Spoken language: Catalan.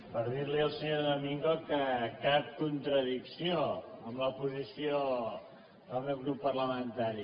per dir li al senyor domingo que cap contradicció amb la posició del meu grup parlamentari